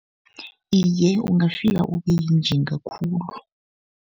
Iye, ungafika ube yinjinga khulu.